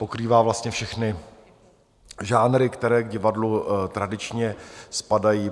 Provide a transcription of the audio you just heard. Pokrývá vlastně všechny žánry, které k divadlu tradičně spadají.